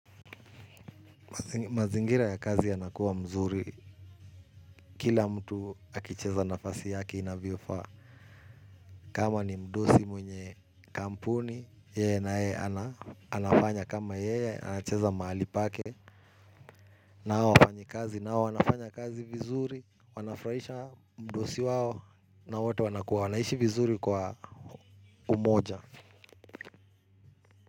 Mazingira ya kazi yanakuwa mzuri. Kila mtu akicheza nafasi yake inavyofaa. Kama ni mdosi mwenye kampuni, yeye naye anafanya kama yeye, anacheza mahali pake, na hawa wafanyi kazi, nao wanafanya kazi vizuri, wanafuraisha mdosi wao na wote wanaishi vizuri kwa umoja.